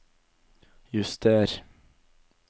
juster